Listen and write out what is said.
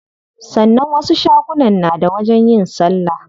Sannan wasu shagunan na da wajen yin salla.